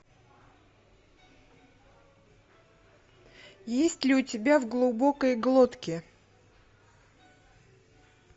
есть ли у тебя в глубокой глотке